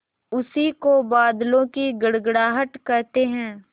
उसी को बादलों की गड़गड़ाहट कहते हैं